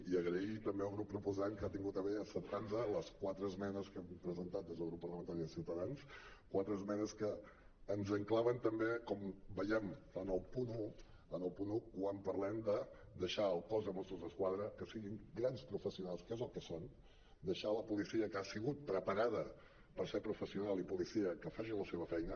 i donar les gràcies també al grup proposant que ha tingut a bé acceptar nos les quatre esmenes que hi hem presentat des del grup parlamentari de ciutadans quatre esmenes que ens enclaven també com veiem en el punt un en el punt un quan parlem de deixar al cos de mossos d’esquadra que siguin grans professionals que és el que són deixar la policia que ha sigut preparada per ser professional i policia que faci la seva feina